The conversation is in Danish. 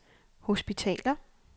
hospitaler